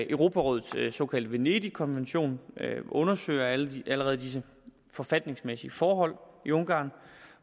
europarådets såkaldte venedigkommission undersøger allerede disse forfatningsmæssige forhold i ungarn